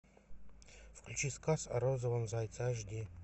включи сказ о розовом зайце аш ди